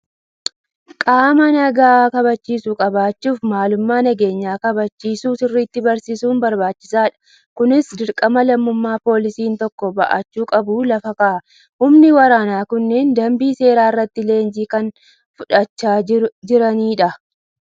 Qaama nagaa kabachiisu qabaachuuf, maalummaa nageenya kabachiisuu sirriitti barsiisuun barbaachisaadha. Kunis dirqama lammummaa poolisiin tokko bahachuu qabu lafa kaa'a. Humni waraanaa kunneen dambii seeraa irratti leenjii kan fudhachaa jirani dha.